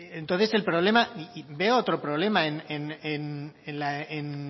entonces el problema y veo otro problema en